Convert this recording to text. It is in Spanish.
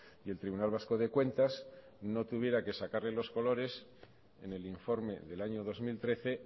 y el tribunal vasco de cuentas no tuviera que sacarle los colores en el informe del año dos mil trece